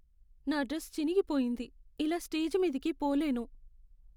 నా డ్రెస్ చినిగిపోయింది. ఇలా స్టేజి మీదికి పోలేను.